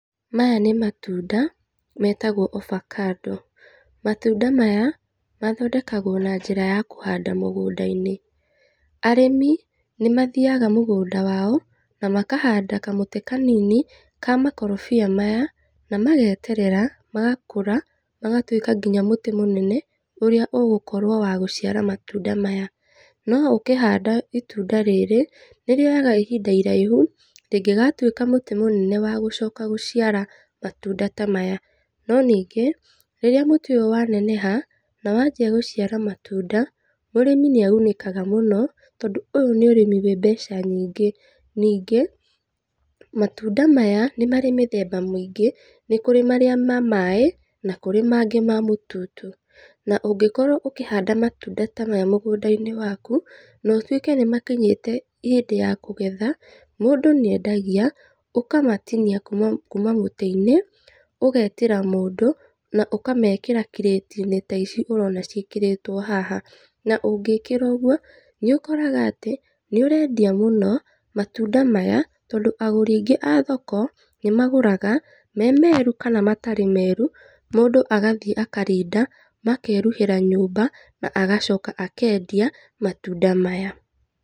Maya nĩ matunda metagwo ovacado, matunda maya mathondekagwo na njĩra ya kũhanda mũgũnda-inĩ, arĩmi nĩ mathiaga mũgũnda wao na makahanda kamũtĩ kanini, ka makorobia maya na mageterera magakũra, magatuĩka nginya mũtĩ mũnene ũrĩa ũgũkorwo wa gũciara matunda maya, no ũkĩhanda itunda rĩrĩ, nĩ rĩoyaga ihinda iraihu rĩngĩgatuĩka mũtĩ mũnene wa gũcoka gũciara matunda tamaya, no ningĩ rĩrĩa mũtĩ ũyũ wa neneha, na wanjia gũciara matunda, mũrĩmi nĩ agunĩkaga mũno, tondũ ũyũ nĩ ũrĩmi wĩ mbeca nyingĩ, nĩngĩ matunda maya nĩ marĩ mĩthemba mĩingĩ, nĩ kũrĩ marĩa ma maĩ, na kũrĩ mangĩ ma mũtutu, na ũngĩkorwo ũkĩhanda matunda tamaya mũgũnda-inĩ waku, na ũtuĩke nĩ makinyĩte hĩndĩ ya kũgetha, mũndũ nĩ endagia, ũkamatinia kuuma kuuma mũtĩ-inĩ, ũgetĩra mũndũ, na ũkamekĩra kirĩti-inĩ taici ũrona cĩkĩrĩtwo haha, na ũngĩkĩra ũguo nĩ ũkoraga atĩ nĩ ũrendia mũno matunda maya, tondũ agũri aingĩ a thoko nĩ magũraga, me meru, kana matarĩ meru, mũndũ agathiĩ akarinda, makeruhĩra nyũmba na agacoka agathiĩ akendia, matunda maya.